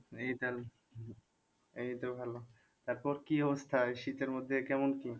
এই তো ভালো তারপর কি অবস্থা এই শীতের মধ্যে কেমন কি?